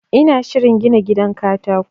ina shirin gina gidan katako